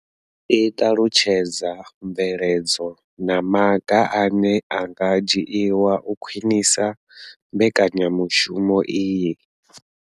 I ṱalutshedza mvelelo na maga ane a nga dzhiwa u khwinisa mbekanya mushumo iyi.